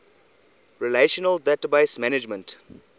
relational database management